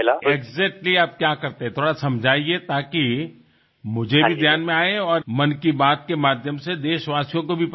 exactly તમે શું કરતા હતા થોડું સમજાવો જેથી મને પણ ધ્યાનમાં આવે અને મન કી બાતના માધ્યમથી દેશવાસીઓને પણ ખબર પડે